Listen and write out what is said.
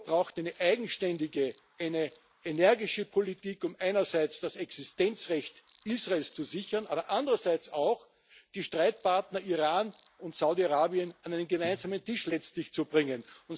Europa braucht eine eigenständige, eine energische Politik, um einerseits das Existenzrecht Israels zu sichern, aber andererseits auch die Streitpartner Iran und Saudi Arabien letztlich an einen gemeinsamen Tisch zu bringen.